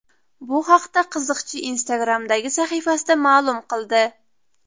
Bu haqda qiziqchi Instagram’dagi sahifasida ma’lum qildi.